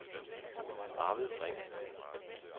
Arvid Ring